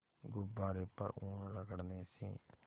गुब्बारे पर ऊन रगड़ने से